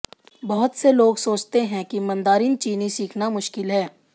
बहुत से लोग सोचते हैं कि मंदारिन चीनी सीखना मुश्किल है